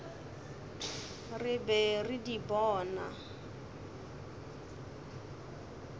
re be re di bona